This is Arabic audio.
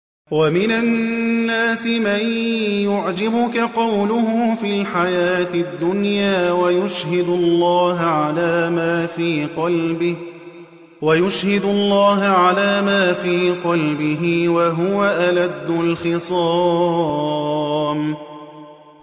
وَمِنَ النَّاسِ مَن يُعْجِبُكَ قَوْلُهُ فِي الْحَيَاةِ الدُّنْيَا وَيُشْهِدُ اللَّهَ عَلَىٰ مَا فِي قَلْبِهِ وَهُوَ أَلَدُّ الْخِصَامِ